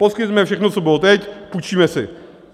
Poskytneme všechno, co bylo teď, půjčíme si.